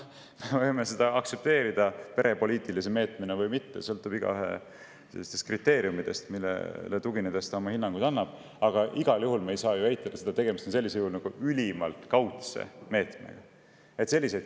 Me võime seda aktsepteerida perepoliitilise meetmena või mitte aktsepteerida – eks see sõltu iga inimese puhul sellest, millistele kriteeriumidele tuginedes ta oma hinnanguid annab –, aga igal juhul ei saa eitada, et sellisel juhul on tegemist ülimalt kaudse meetmega.